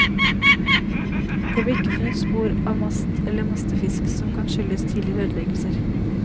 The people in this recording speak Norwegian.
Det ble ikke funnet spor av mast eller mastefisk, noe som kan skyldes tidligere ødeleggelser.